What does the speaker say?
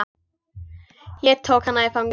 Ég tók hana í fangið.